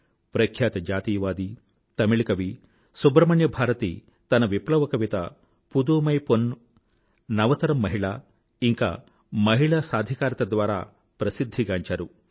ప్రఖ్యాత జాతీయవాది తమిళ కవి సుబ్రహ్మణ్య భారతి తన విప్లవ కవిత పుధుమై పొన్న్ నవతరం మహిళ ఇంకా మహిళా సాధికారత ద్వారా ప్రసిద్ధి గాంచారు